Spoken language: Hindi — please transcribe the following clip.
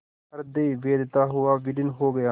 हृदय वेधता हुआ विलीन हो गया